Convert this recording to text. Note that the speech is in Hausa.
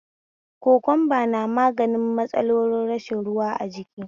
Kokumba na magani matsalar rashin ruwa a jiki